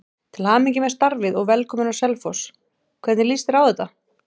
Til hamingju með starfið og velkominn á Selfoss, hvernig lýst þér á þetta?